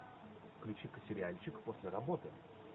включи ка сериальчик после работы